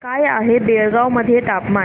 काय आहे बेळगाव मध्ये तापमान